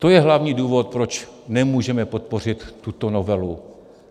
To je hlavní důvod, proč nemůžeme podpořit tuto novelu.